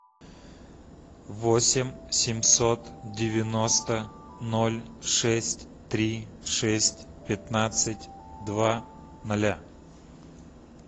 восемь семьсот девяносто ноль шесть три шесть пятнадцать два ноля